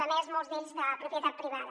a més molts d’ells de propietat privada